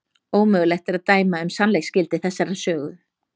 Ómögulegt er að dæma um sannleiksgildi þessarar sögu.